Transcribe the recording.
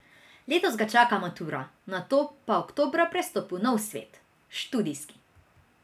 Letos ga čaka matura, nato pa oktobra prestop v nov svet, študijski.